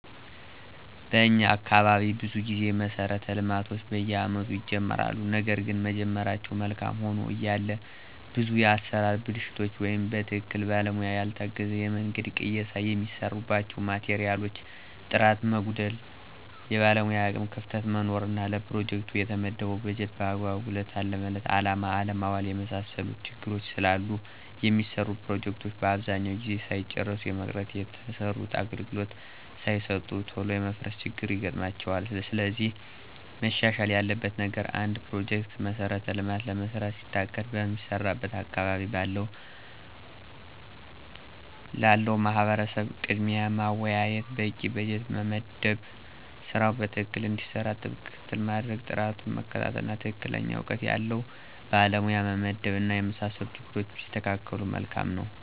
በኛ አካባቢ ብዙ ጊዜ መሠረተ ልማቶች በየአመቱ ይጀመራሉ ነገርግን መጀመራቸው መልካም ሆኖ እያለ ብዙ የአሠራር ብልሽት ወይም በትክክለኛ ባለሙያ ያልታገዘ የመንገድ ቅየሳ፣ የሚሰሩባቸው ማቴሪያሎች ጥራት መጓደል፣ የባለሙያ የአቅም ክፍተት መኖር እና ለፕሮጀክቱ የተመደበውን በጀት በአግባቡ ለታለመለት አላማ አለማዋል የመሳሰሉት ችግሮች ስላሉ የሚሰሩ ፕሮጀክቶች አብዛኛውን ጊዜ ሳይጨረሱ የመቅረት፣ የተሰሩትም አገልግሎት ሳይሰጡ ቶሎ የመፍረስ ችግር ይገጥማቸዋል። ስለዚህ መሻሻል ያለበት ነገር አንድ ፕሮጀክት(መሠረተ ልማት)ለመስራት ሲታቀድ በሚሰራበት አካባቢ ላለው ማህበረሰብ ቅድሚያ ማወያየት፣ በቂ በጀት መመደብ ስራው በትክክል እንዲሰራ ጥብቅ ክትትል ማድረግ፣ ጥራቱን መከታተል፣ እና ትክክለኛ እውቀት ያለው ባለሙያ መመደብ እና የመሳሰሉት ችግሮች ቢስተካከሉ መልካም ነው።